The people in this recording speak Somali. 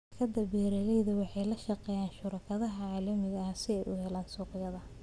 Shirkadaha beeralayda waxay la shaqeeyaan shuraakada caalamiga ah si ay u helaan suuqyo.